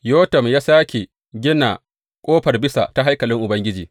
Yotam ya sāke gina Ƙofar Bisa ta haikalin Ubangiji.